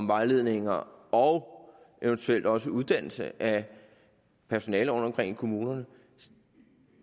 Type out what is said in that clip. vejledninger og eventuelt også på uddannelse af personale rundtomkring i kommunerne